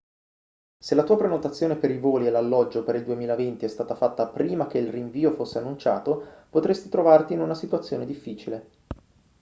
se la tua prenotazione per i voli e l'alloggio per il 2020 è stata fatta prima che il rinvio fosse annunciato potresti trovarti in una situazione difficile